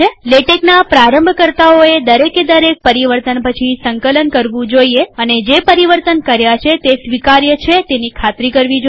લેટેક્ના પ્રારંભકર્તાઓએ દરેકે દરેક પરિવર્તન પછી સંકલન કરવું જોઈએ અને જે પરિવર્તન કર્યા છે તે સ્વીકાર્ય છે તે ખાતરી કરવી જોઈએ